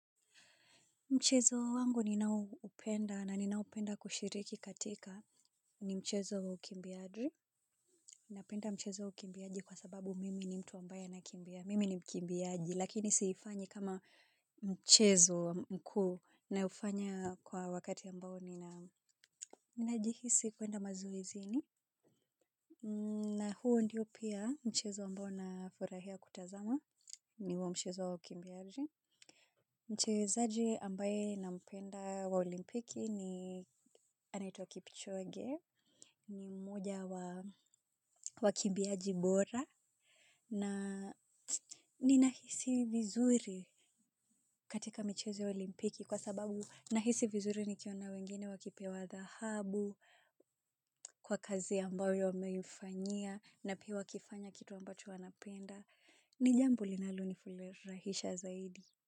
Mchezo wangu ninaoupenda na ninaopenda kushiriki katika ni mchezo wa ukimbiaji. Napenda mchezo wa ukimbiaji kwa sababu mimi ni mtu ambaye anakimbia. Mimi ni mkimbiji lakini siifanyi kama mchezo mkuu naufanya kwa wakati ambao nina ninajihisi kuenda mazoezini. Na huo ndiyo pia mchezo ambao nafurahia kutazama ni wa mchezo wa ukimbiaji mchezaji ambaye nampenda wa olimpiki ni anaitwa Kipchoge ni mmoja wa wakimbiaji bora na ninahisi vizuri katika michezo ya olimpiki kwa sababu nahisi vizuri nikiona wengine wakipewa dhahabu, kwa kazi ambayo wameifanyia na pia wakifanya kitu ambacho wanapenda. Ni jambo linali ni furahisha zaidi.